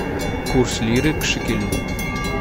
курс лиры к шекелю